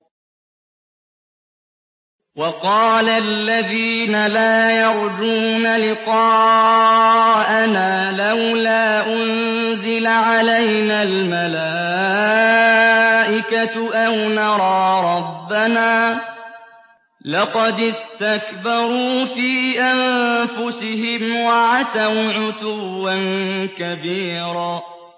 ۞ وَقَالَ الَّذِينَ لَا يَرْجُونَ لِقَاءَنَا لَوْلَا أُنزِلَ عَلَيْنَا الْمَلَائِكَةُ أَوْ نَرَىٰ رَبَّنَا ۗ لَقَدِ اسْتَكْبَرُوا فِي أَنفُسِهِمْ وَعَتَوْا عُتُوًّا كَبِيرًا